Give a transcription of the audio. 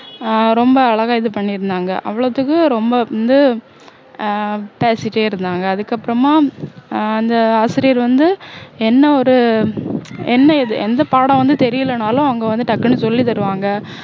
ஆஹ் ரொம்ப அழகா இது பண்ணியிருந்தாங்க அவ்வளவுத்துக்கு ரொம்ப வந்து ஆஹ் பேசிட்டே இருந்தாங்க அதுக்கப்பறமா ஆஹ் அந்த ஆசிரியர் வந்து என்ன ஒரு என்ன இது எந்த பாடம் வந்து தெரியலன்னாலும் அங்க வந்து டக்குன்னு சொல்லி தருவாங்க